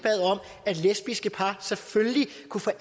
bad lesbiske par selvfølgelig